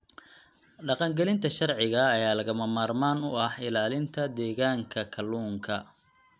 Dhaqangelinta sharciga ayaa lagama maarmaan u ah ilaalinta deegaanka kalluunka.